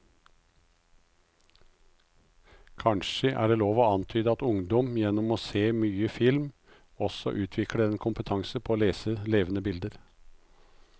Kanskje er det lov å antyde at ungdom gjennom å se mye film også utvikler en kompetanse på å lese levende bilder.